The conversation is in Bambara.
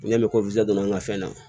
Ne bɛ don an ka fɛn na